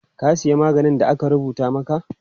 Ka siya maganin da aka rubuta maka?